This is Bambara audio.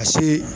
A se